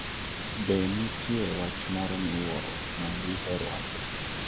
Be nitie wach moro miwuoro ma diher wacho?